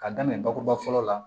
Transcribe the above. Ka daminɛ bakuruba fɔlɔ la